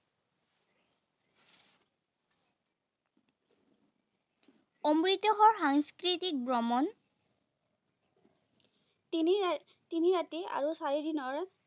অমৃতসৰোৱৰ সাংস্কৃতিক ভ্ৰমণ তিনি আহ তিনি ৰাতি আৰু চাৰি দিনৰ